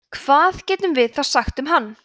hvað getum við þá sagt um hann